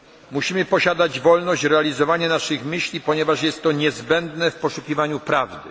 Musimy posiadać wolność realizowania naszych myśli, ponieważ jest to niezbędne w poszukiwaniu prawdy.